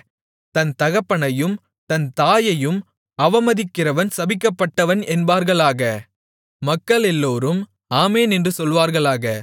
தன் தகப்பனையும் தன் தாயையும் அவமதிக்கிறவன் சபிக்கப்பட்டவன் என்பார்களாக மக்களெல்லோரும் ஆமென் என்று சொல்வார்களாக